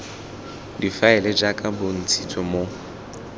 difaele jaaka go bontshitswe mo